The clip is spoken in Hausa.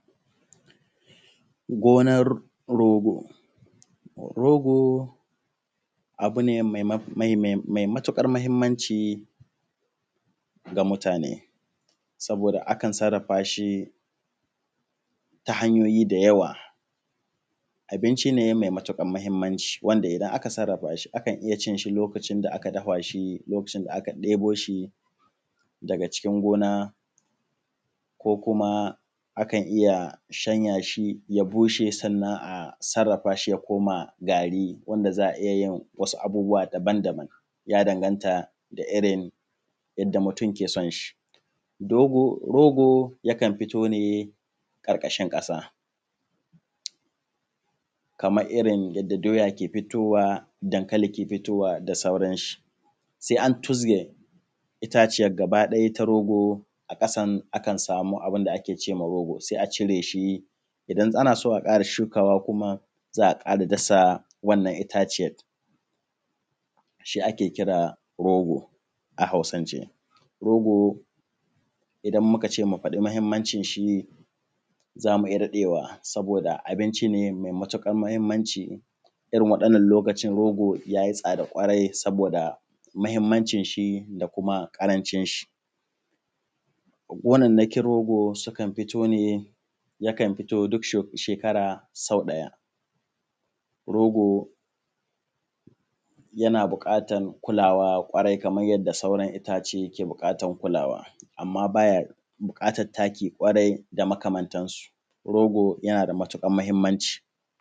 Gonar rogo. Rogo, rogo abu ne me matuƙar mahinmanci ga mutane saboda a kan sarrafa shi ta hanyoyi da yawa. Abinci ne me matuƙar mahinmanci wanda idan aka sarrafa shi za a iya cin shi lokacin da aka dafa shi lokacin da aka ɗebo shi daga cikin gona ko kuma a kan iya shanya shi, ya bushe sannan a sarrafa shi ya koma gari. Wanda za a iya yin abubbuwa daban-daban ya danganta da irirn yanda mutum ke son shi, rogo yakan fito ne ƙarƙashin ƙasa kamar yanda doya ke fitowa, dankali ke fitowa da sauran shi. Se an tuzge itaciyan gabakiɗaya na rogo, sannan a samu abun da ake ce ma rogo, se a cire shi idan ana so a ƙara shukawa kuma za a ƙara dasa wannan itaciyan da shi ake kira rogo. A Hausance rogo idan muka ce mu faɗi mahinmancin shi za mu iya daɗewa saboda abinci ne me matuƙar mahinmanci, irin waɗannan yanayin rogo ya yi tsada ƙwarai saboda mahinmancin shi da kuma ƙarancin shi. Gonannakin rogo sukan fito ne yakan fito ne duk sau ɗaya, rogo yana buƙatan kulawa kwarai kaman yadda sauran itace ke buƙatan kulawa. Amma ba ya buƙatan taki kwarai da makamantansu, rogo yana da matuƙar mahinmanci.